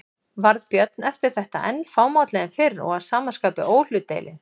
Varð Björn eftir þetta enn fámálli en fyrr og að sama skapi óhlutdeilinn.